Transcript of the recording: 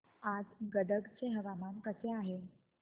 आज गदग चे हवामान कसे आहे